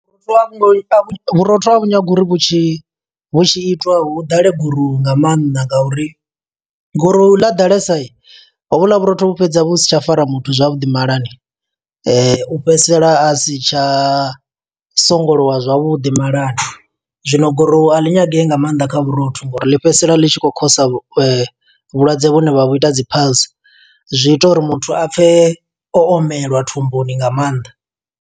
Vhurotho a vhu nyagi uri vhu tshi, vhu tshi itiwa hu ḓale gurowu nga maanḓa, nga uri goruwu ḽa ḓalesa. Ho vhuḽa vhurotho vhu fhedza vhu si tsha fara muthu zwavhuḓi malani. u fhedzisela a si tsha songolowa zwavhuḓi malani. Zwino gurowu a ḽi nyagei nga maanḓa kha vhurotho, ngo uri ḽi fhedzisela ḽi tshi khou khosa vhulwadze vhune vha vhu uri dzi piles. Zwi ita uri muthu a pfe omelwa thumbuni nga maanḓa.